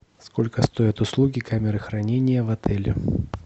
сколько стоят услуги камеры хранения в отеле